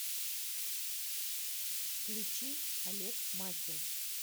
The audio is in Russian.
включи олег макин